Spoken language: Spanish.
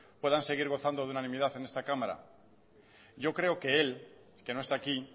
puedan seguir gozando de unanimidad en esta cámara yo creo que él que no está aquí